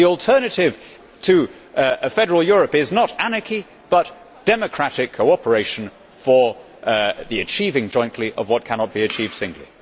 the alternative to a federal Europe is not anarchy but democratic cooperation for the achievement jointly of what cannot be achieved singly.